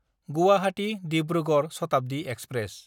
गुवाहाटी–दिब्रुगड़ Shatabdi express